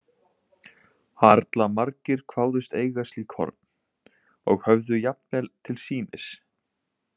Harla margir kváðust eiga slík horn, og höfðu jafnvel til sýnis.